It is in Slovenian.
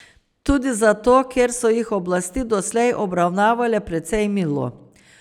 Tudi zato, ker so jih oblasti doslej obravnavale precej milo.